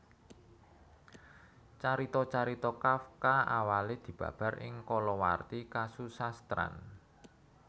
Carita carita Kafka awalé dibabar ing kalawarti kasusastran